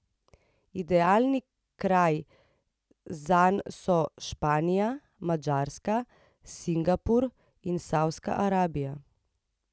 Idealni kraji zanj so Španija, Madžarska, Singapur in Savdska Arabija.